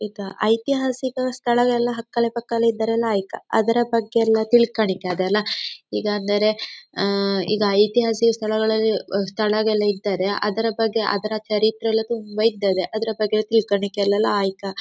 ಇದ ಐತಿಹಾಸಿಕ ಸ್ಥಳ ಎಲ್ಲ ಹಕ್ಕಲೆ ಪಕ್ಕಲೆ ಇದ್ದರೆಲ್ಲ ಲಾಯಿಕ ಅದರ ಬಗ್ಗೆ ಎಲ್ಲ ತಿಳ್ಕಣಿಕ್ಕ ಅದೆಲ್ಲ ಈಗ ಅಂದರೆ ಆಂ ಈಗ ಐತಿಹಾಸಿಕ ಸ್ಥಳಗಳಲ್ಲಿ ಸ್ಥಳಗಳಿದ್ದರೆ ಅದರ ಬಗ್ಗೆ ಅದರ ಚರಿತ್ರೆ ಎಲ್ಲ ತುಂಬ ಇದ್ದರೆ ಅದರ ಬಗ್ಗೆ ಎಲ್ಲ ತಿಳ್ಕಣಿಕ್ಕೆಲ್ಲ ಲಾಯಿಕ.